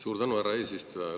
Suur tänu, härra eesistuja!